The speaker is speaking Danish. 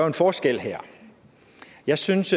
en forskel her jeg synes